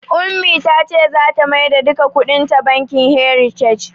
Ummi ta ce tana maida duka kuɗin ta bankin "heritage".